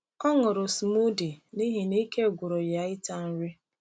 Ọ ṅụrụ smoothie n’ihi na ike gwụrụ ya ịta nri.